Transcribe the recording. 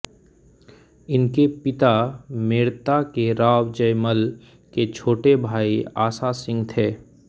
इनके पिता मेड़ता के राव जयमल के छोटे भाई आसासिंह थे